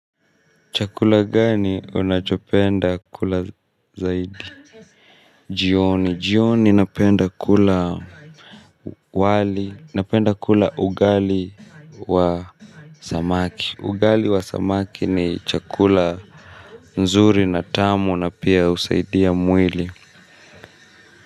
Chakula gani unachopenda kula zaidi. Jioni jioni napenda kula wali napenda kula ugali wa Zamaki ugali wa zamaki ni chakula. Nzuri na tamu na pia usaidia mwili.